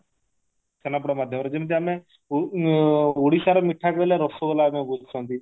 ଛେନାପୋଡ ମଧ୍ୟମରେ ଯେମିତି ଆମେ ଓ ଓଡିଶାର ମିଠା କହିଲେ ରସଗୋଲା ଆମେ ବୁଝୁଛନ୍ତି